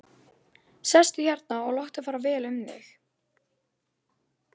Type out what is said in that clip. Sestu hérna og láttu fara vel um þig!